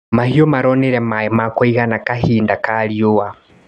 Mahiũ maronire maĩ ma kũigana kahinda ka riũa.